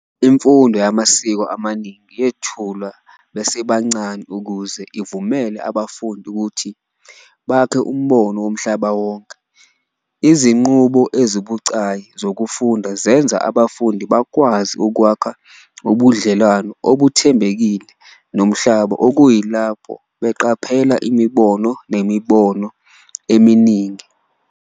Imfundo yamasiko amaningi yethulwa besebancane ukuze ivumele abafundi ukuthi bakhe umbono womhlaba wonke. Izinqubo ezibucayi zokufunda zenza abafundi bakwazi ukwakha ubudlelwano obuthembekile nomhlaba kuyilapho beqaphela imibono nemibono eminingi.